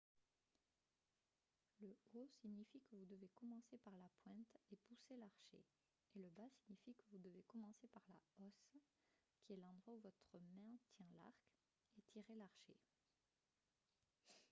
le haut signifie que vous devez commencer par la pointe et pousser l’archet et le bas signifie que vous devez commencer par la hausse qui est l’endroit où votre main tient l’arc et tirer l’archet